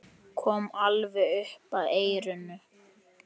Kom alveg upp að eyranu.